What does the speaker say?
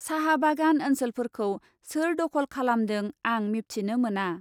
साहा बागान ओन्सोलफोरखौ सोर दखल खालामदों आं मिबथिनो मोना।